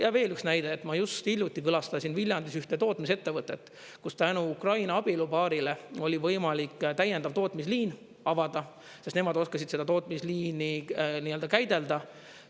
Ja veel üks näide, et ma just hiljuti külastasin Viljandis ühte tootmisettevõtet, kus tänu Ukraina abielupaarile oli võimalik täiendav tootmisliin avada, sest nemad oskasid seda tootmisliini nii-öelda käidelda.